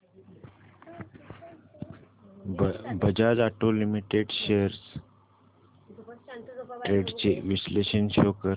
Bajaj auto limited shares trends चे विश्लेषण show कर